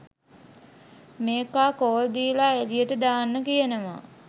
මේකා කෝල් දීල එළියට දාන්න කියනවා.